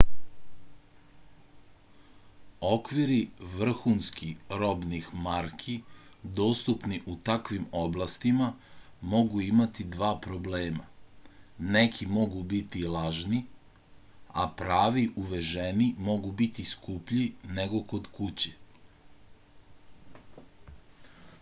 okviri vrhunski robnih marki dostupni u takvim oblastima mogu imati dva problema neki mogu biti lažni a pravi uveženi mogu biti skuplji nego kod kuće